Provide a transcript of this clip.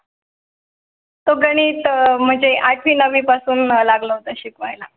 तो गणित म्हणजे आठवी नववी पासून लागला होता शिकवाय ला